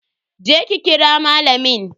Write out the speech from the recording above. Je ki ki kira malamin.